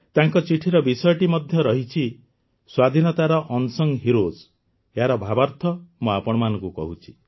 ତାଙ୍କ ଚିଠିର ବିଷୟଟି ମଧ୍ୟ ରହିଛି ସ୍ୱାଧୀନତାର ଅନସଂ ହିରୋଏସ୍ ଏହାର ଭାବାର୍ଥ ମୁଁ ଆପଣମାନଙ୍କୁ କହୁଛି